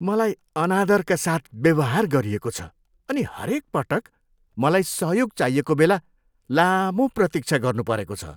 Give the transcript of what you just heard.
मलाई अनादरका साथ व्यवहार गरिएको छ अनि हरेक पटक मलाई सहयोग चाहिएको बेला लामो प्रतीक्षा गर्नुपरेको छ।